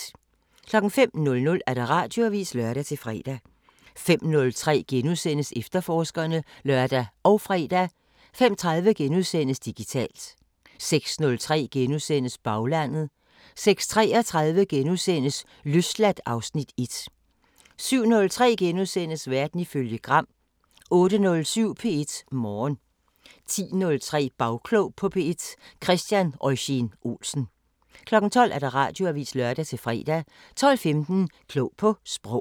05:00: Radioavisen (lør-fre) 05:03: Efterforskerne *(lør og fre) 05:30: Digitalt * 06:03: Baglandet * 06:33: Løsladt (Afs. 1)* 07:03: Verden ifølge Gram * 08:07: P1 Morgen 10:03: Bagklog på P1: Christian Eugen-Olsen 12:00: Radioavisen (lør-fre) 12:15: Klog på Sprog